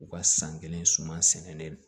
U ka san kelen suman sɛnen